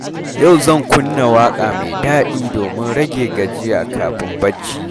Yau zan kunna waƙa mai daɗi domin rage gajiya kafin barci.